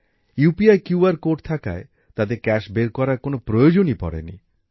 UPI QR code থাকায় তাদের নগদ টাকা বের করার কোন প্রয়োজনই পড়েনি